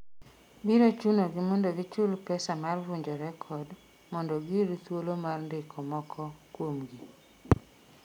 biro chunogi mondo gichul pesa mar vunjo rekod mondo giyud thuolo mar ndiko moko kuomgi